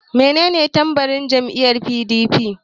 Menene tambarin jam'iyyar PDP?